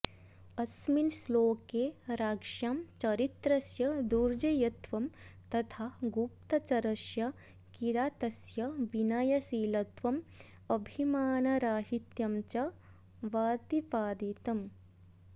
अस्मिन् श्लोके राज्ञां चरित्रस्य दुर्जेयत्वं तथा गुप्तचरस्य किरातस्य विनयशीलत्वं अभिमानराहित्यं च बतिपादितम